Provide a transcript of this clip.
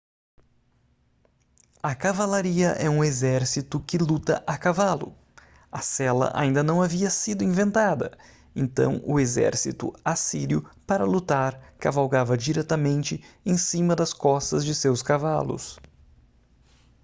a cavalaria é um exército que luta a cavalo a sela ainda não havia sido inventada então o exército assírio para lutar cavalgava diretamente em cima das costas de seus cavalos